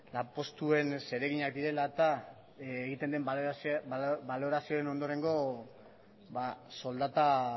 lanpostuen zereginak direla eta egiten den balorazioen ondorengo soldata